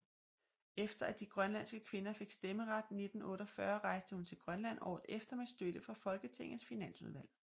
Efter at de grønlandske kvinder fik stemmeret 1948 rejste hun til Grønland året efter med støtte fra Folketingets finansudvalg